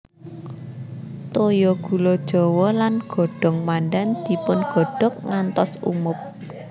Toya gula jawa lan godhong pandan dipun godhog ngantos umub